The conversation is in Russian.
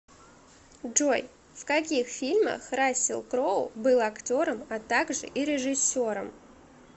джой в каких фильмах рассел кроу был актером а также и режисером